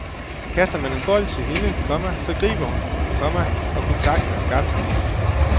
Kaster man en bold til hende, komma så griber hun den, komma og kontakten er skabt. punktum